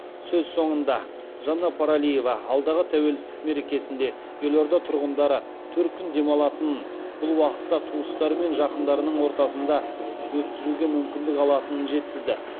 сөз соңында жанна паралиева алдағы тәуелсіздік мерекесінде елорда тұрғындары төрт күн демалатынын бұл уақытта туыстары мен жақындарының ортасында өткізуге мүмкіндік алатынын жеткізді